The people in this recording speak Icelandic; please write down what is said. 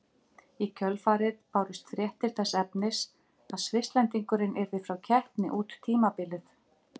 Í kjölfarið bárust fréttir þess efnis að Svisslendingurinn yrði frá keppni út tímabilið.